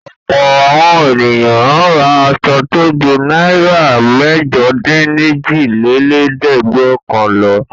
Ọ̀pọ̀ àwọn ènìyàn máa ń ra aṣọ tó ju náírà mẹ́jọdínlójìlélẹ́ẹ̀dẹ́gbẹ́ọ̀kànl lọ.